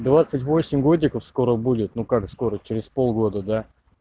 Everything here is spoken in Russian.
двадцать восемь годиков скоро будет ну как скоро через полгода да